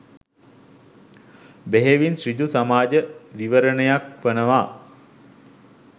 බෙහෙවින් ඍජු සමාජ විවරණයක් වෙනවා.